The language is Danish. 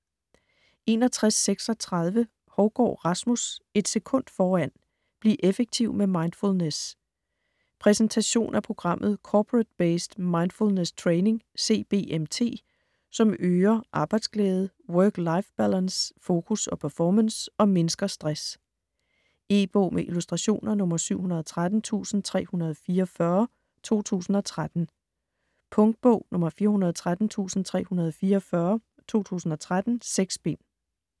61.36 Hougaard, Rasmus: Et sekund foran: bliv effektiv med mindfulness Præsentation af programmet Corporate-Based Mindfulness Training (CBMT), som øger arbejdsglæde, work-life balance, fokus og performance og mindsker stress. E-bog med illustrationer 713344 2013. Punktbog 413344 2013. 6 bind.